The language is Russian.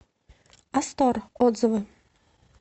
астор отзывы